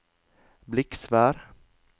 Bliksvær